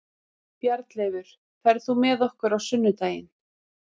Bjarnleifur, ferð þú með okkur á sunnudaginn?